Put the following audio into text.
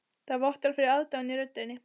Það vottar fyrir aðdáun í röddinni.